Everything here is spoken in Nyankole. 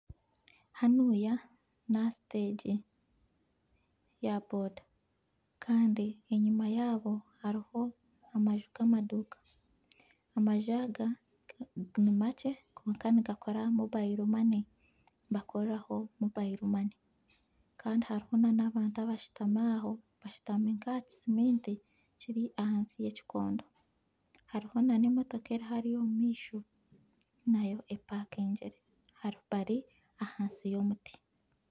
Hanuya Naha steegi yaboda Kandi enyuma yaabo hariho amaju gamaduuka amaju aga nimakye kwonka nigakora ahamobile money nibakoreraho mobile money Kandi hariho nabantu abashutami Aho bashutami nkahakisiminti kiri ahansi yekikondo hariho nana emotooka eryaho omumaisho nayo eparkingire bari ahansi yomuti